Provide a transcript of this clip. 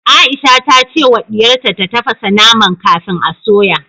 Aisha ta ce wa diyarta ta tafasa naman kafin a soya